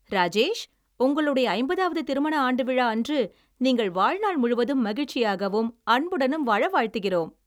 ராஜேஷ், உங்களுடைய ஐம்பதாவது திருமண ஆண்டு விழா அன்று நீங்கள் வாழ்நாள் முழுவதும் மகிழச்சியாகவும் அன்புடனும் வாழ வாழ்த்துகிறோம்.